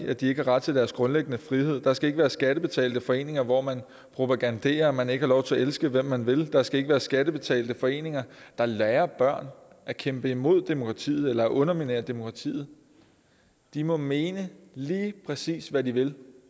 at de ikke har ret til deres grundlæggende frihed der skal ikke være skattebetalte foreninger hvor man propaganderer og hvor man ikke har lov til at elske hvem man vil der skal ikke være skattebetalte foreninger der lærer børn at kæmpe imod demokratiet eller underminere demokratiet de må mene lige præcis hvad de vil